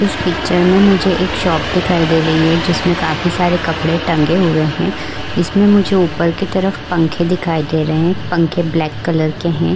इस पिक्चर में मुझे एक शॉप दिखाई दे रही है जिसमें काफी सारे कपडे टंगे हुए हैं। जिसमें मुझे ऊपर की तरफ पंखे दिखाई दे रहे हैं। पंखे ब्लैक कलर के हैं।